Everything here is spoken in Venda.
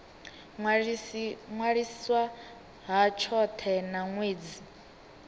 ṅwaliswa ha tshothe na ṅwedzi